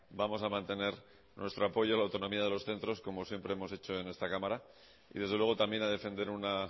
vamos a mantener nuestro apoyo a la autonomía de los centros como siempre hemos hecho en esta cámara y desde luego también a defender una